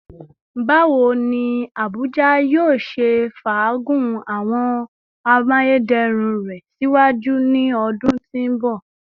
Bawo ni Abuja yoo ṣe faagun awọn amayederun rẹ siwaju ni awọn ọdun ti n bọ?